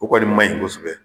O kɔni ma ɲi kosɛbɛ.